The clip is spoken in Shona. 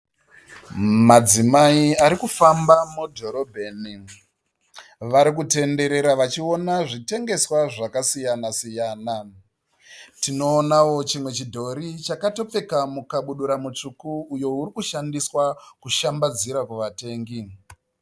Madzimai ari kufamba mudhorobheni. Vari kutenderera vachiona zvitengeswa zvakasiyana- siyana. Tinoonawo chimwe chidhori chakatopfeka mukabudura mutsvuku uyo uri kushandiswa kushambadzira kuvatengi.